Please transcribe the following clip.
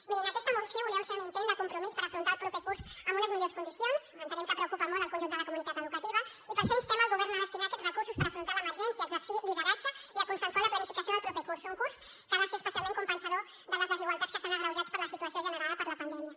mirin aquesta moció volia ser un intent de compromís per afrontar el proper curs amb unes millors condicions entenem que preocupa molt el conjunt de la comunitat educativa i per això instem el govern a destinar aquests recursos per l’emergència a exercir lideratge i a consensuar la planificació del proper curs un curs que ha de ser especialment compensador de les desigualtats que s’han agreujat per la situació generada per la pandèmia